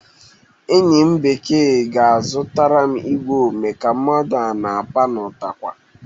Enyi m nwa bekee ga-azụtara m igwe ome ka mmadụ a na-apa n'ụtakwụ